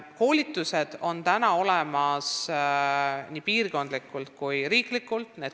Koolitusi korraldatakse nii piirkondlikult kui ka riiklikult.